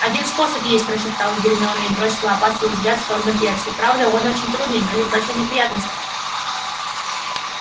один способ есть прошептала гермиона и бросила опасливый взгляд в сторону перси правда он очень трудный и грозит большой неприятностью